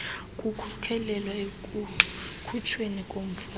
kukhokelela ekukhutshweni komfaki